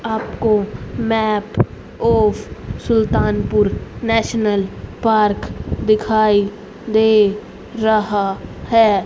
आपको map Sultanpur national park दिखाई दे रहा है।